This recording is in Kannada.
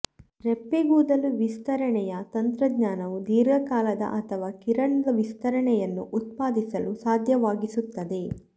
ರೆಪ್ಪೆಗೂದಲು ವಿಸ್ತರಣೆಯ ತಂತ್ರಜ್ಞಾನವು ದೀರ್ಘಕಾಲದ ಅಥವಾ ಕಿರಣದ ವಿಸ್ತರಣೆಯನ್ನು ಉತ್ಪಾದಿಸಲು ಸಾಧ್ಯವಾಗಿಸುತ್ತದೆ